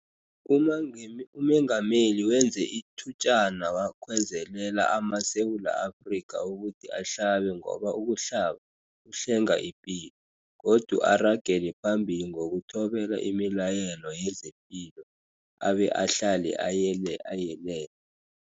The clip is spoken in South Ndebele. UMengameli wenze ithutjana wakhwezelela amaSewula Afrika ukuthi ahlabe ngoba ukuhlaba kuhlenga ipilo, godu aragele phambili ngokuthobela imilayelo yezepilo, abe ahlale ayelele.